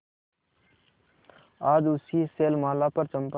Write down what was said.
आज उसी शैलमाला पर चंपा